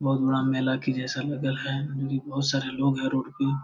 बहुत बड़ा मेला के जैसा लगल है। यहाँ पे बहुत सारे लोग हैं रोड पे।